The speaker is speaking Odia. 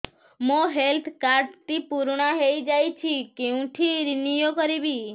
ମୋ ହେଲ୍ଥ କାର୍ଡ ଟି ପୁରୁଣା ହେଇଯାଇଛି କେଉଁଠି ରିନିଉ କରିବି